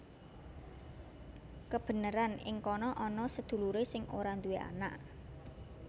Kebeneran ing kana ana sedulurè sing ora duwé anak